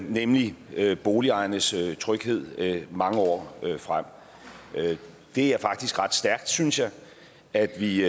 nemlig boligejernes tryghed mange år frem det er faktisk ret stærkt synes jeg at vi